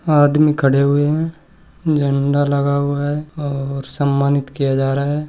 आदमी खड़े हुए है झंडा लगा हुआ है और सम्मानित किया जा रहा है।